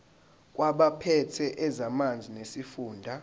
kwabaphethe ezamanzi nesifunda